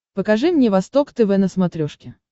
покажи мне восток тв на смотрешке